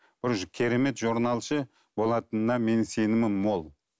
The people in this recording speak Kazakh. уже керемет болатынына менің сенімім мол